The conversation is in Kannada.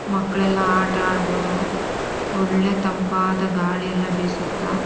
ಮಕ್ಕಳೆಲ್ಲ ಆಟ ಅಡ್ಬೋದು ಒಳ್ಳೆ ತಂಪಾಧ ಗಾಳಿ ಎಲ್ಲ ಬೀಸುತ.